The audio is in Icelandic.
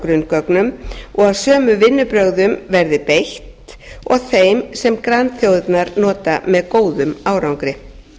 grunngögnum og sömu vinnubrögðum verði beitt og þeim sem grannþjóðirnar nota með góðum árangri